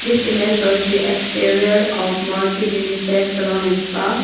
This image shows the exterior of morchid unisex salon and spa.